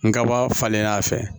N kaba falen n'a fɛ